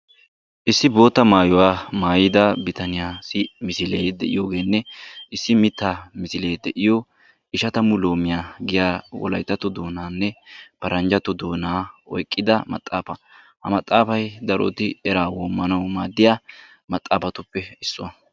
Issi bootta maayuwa maayida bitaniyaassi misilee de'iyoogeenne issi mittaa misilee de'iyo eshatamu loomiya giya wolayittato doonaninne paranjjatto doona oyiqqida maxaafa. Ha maxaafay daroti eraa woomanawu maadiya maxaafatuppe issuwa.